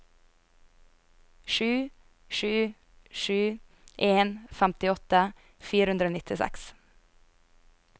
sju sju sju en femtiåtte fire hundre og nittiseks